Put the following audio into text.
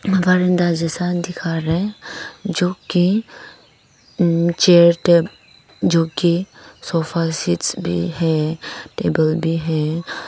एक बरांडा जैसा दिख रहा है जो की चेयर टेबल जो की सोफा सेट्स भी है टेबल भी है।